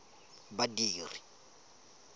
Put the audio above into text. badiri